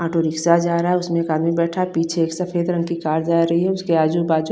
auto rickshaw जा रहा है उसमे एक आदमी बैठा है पीछे एक सफ़ेद रंग की कार जा रही है उसके आजु बाजु --